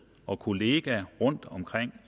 og kolleger rundt